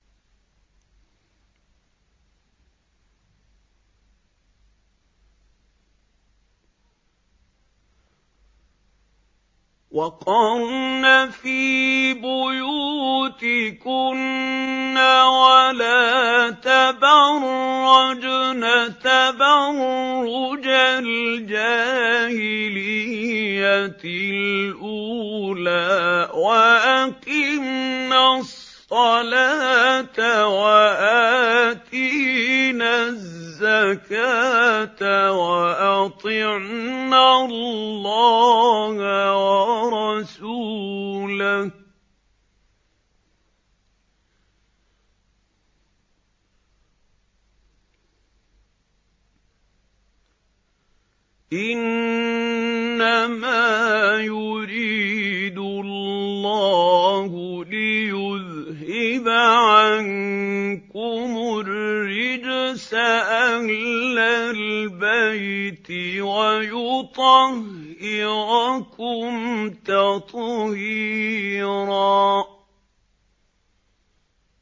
وَقَرْنَ فِي بُيُوتِكُنَّ وَلَا تَبَرَّجْنَ تَبَرُّجَ الْجَاهِلِيَّةِ الْأُولَىٰ ۖ وَأَقِمْنَ الصَّلَاةَ وَآتِينَ الزَّكَاةَ وَأَطِعْنَ اللَّهَ وَرَسُولَهُ ۚ إِنَّمَا يُرِيدُ اللَّهُ لِيُذْهِبَ عَنكُمُ الرِّجْسَ أَهْلَ الْبَيْتِ وَيُطَهِّرَكُمْ تَطْهِيرًا